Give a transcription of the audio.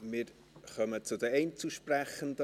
Wir kommen zu den Einzelsprechenden.